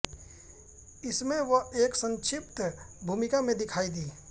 इसमें वह एक संक्षिप्त भूमिका में दिखाई दी